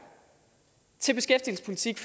til beskæftigelsespolitik